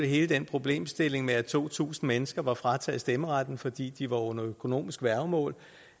hele den problemstilling med at to tusind mennesker var frataget stemmeretten fordi de var under økonomisk værgemål